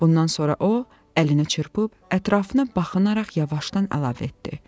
Bundan sonra o, əlini çırpıb ətrafına baxınaraq yavaşdan əlavə etdi.